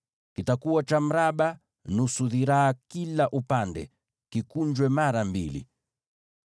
Kitakuwa cha mraba, chenye urefu wa shibiri moja na upana wa shibiri moja, na kikunjwe mara mbili.